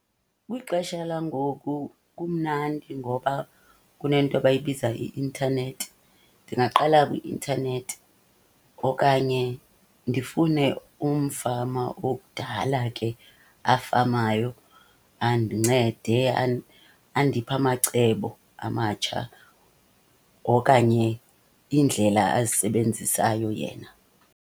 Kwixesha langoku kumnandi ngoba kunento abayibiza i-intanethi. Ndingaqala kwi-intanethi okanye ndifune umfama okudala ke afamayo andincede andiphe amacebo amatsha. Okanye iindlela azisebenzisayo yena.